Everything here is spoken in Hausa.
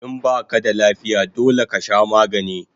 In baka da lafiya dole kasha magani